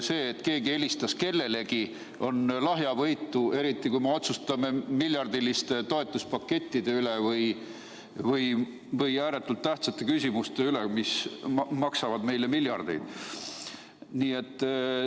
See, kui keegi helistab kellelegi, on lahjavõitu lahendus, eriti kui me otsustame miljardiliste toetuspakettide üle või muude ääretult tähtsate küsimuste üle, mis maksavad meile miljardeid.